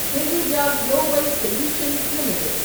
Hinduja global solutions limited